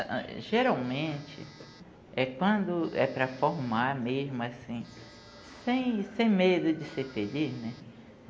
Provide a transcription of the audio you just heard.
geralmente é quando é para formar mesmo assim, sem sem medo de ser feliz, né?